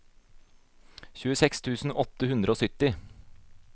tjueseks tusen åtte hundre og sytti